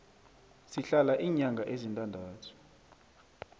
sihlala iinyanga ezintandathu